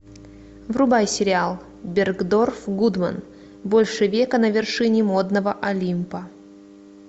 врубай сериал бергдорф гудман больше века на вершине модного олимпа